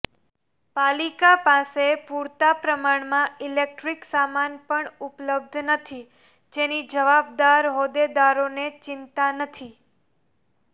પાલિકા પાસે પુરતા પ્રમાણમાં ઈલેક્ટ્રીક સામાન પણ ઉપલબ્ધ નથી જેની જવાબદાર હોદ્દેદારોને ચિંતા નથી